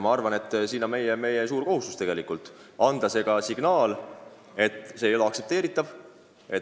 Ma arvan, et meie kohustus on anda signaal, et see ei ole aktsepteeritav.